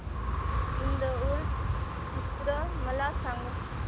ईद उल फित्र मला सांग